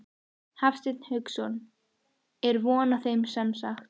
Hafsteinn Hauksson: Er von á þeim semsagt?